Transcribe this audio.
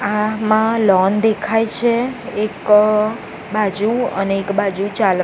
આમા લૉન દેખાય છે એક બાજુ અને એક બાજુ ચાલ--